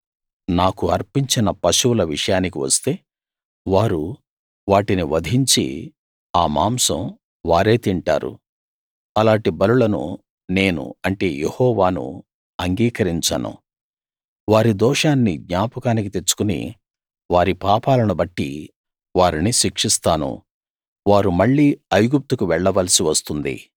నాకు అర్పించిన పశువుల విషయానికి వస్తే వారు వాటిని వధించి ఆ మాంసం వారే తింటారు అలాటి బలులను నేను అంటే యెహోవాను అంగీకరించను వారి దోషాన్ని జ్ఞాపకానికి తెచ్చుకుని వారి పాపాలను బట్టి వారిని శిక్షిస్తాను వారు మళ్లీ ఐగుప్తుకు వెళ్లవలసి వస్తుంది